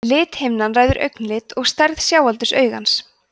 lithimnan ræður augnlit og stærð sjáaldurs augans